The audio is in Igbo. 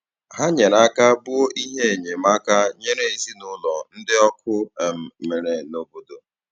Hà nyere aka bùo ihe enyemáka nyèrè ezinụlọ̀ ndị ọkụ um mere n’obodo.